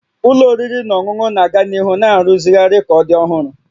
Ụlọ oriri na ọṅụṅụ na-aga n'ihu na-arụzigharị ka ọ dị ọhụrụ